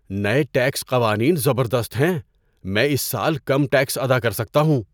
نئے ٹیکس قوانین زبردست ہیں! میں اس سال کم ٹیکس ادا کر سکتا ہوں!